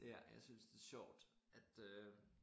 Ja jeg synes det sjovt at øh